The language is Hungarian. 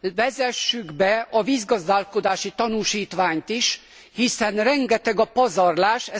vezessük be a vízgazdálkodási tanúsítványt is, hiszen rengeteg a pazarlás.